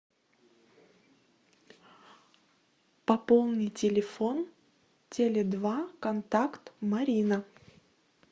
пополни телефон теле два контакт марина